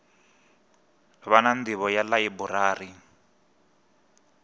vha na nḓivho ya ḽaiburari